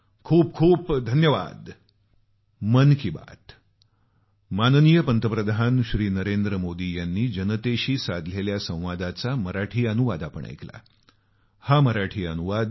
खूप खूप धन्यवाद